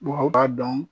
Wa u b'a dɔn